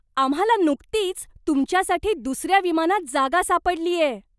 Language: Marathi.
आम्हाला नुकतीच तुमच्यासाठी दुसऱ्या विमानात जागा सापडलीये!